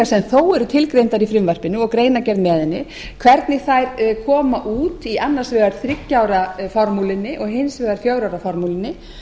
sem þó eru tilgreindar í frumvarpinu og greinargerð með henni hvernig þær koma út í annars vegar þriggja ára formúlunni og hins vegar fjögurra ára formúlunni